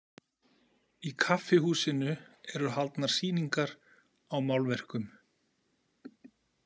Í kaffihúsinu eru haldnar sýningar á málverkum.